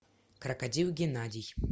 крокодил геннадий